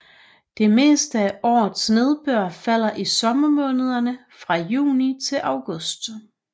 Det meste af årets nedbør falder i sommermånederne fra juni til august